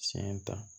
Siyɛn ta